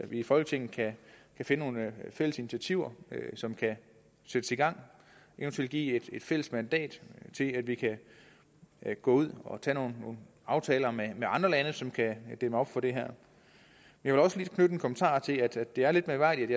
i folketinget kan finde nogle fælles initiativer som kan sættes i gang eventuelt give et fælles mandat til at vi kan gå ud og tage nogle aftaler med andre lande som kan dæmme op for det her jeg vil også lige knytte en kommentar til at det er lidt mærkværdigt